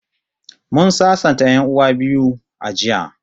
Mun sasanta 'yan'uwan biyu a jiya